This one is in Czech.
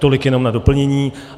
Tolik jenom na doplnění.